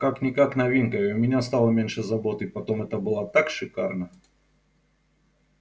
как-никак новинка и у меня стало меньше забот и потом это было так шикарно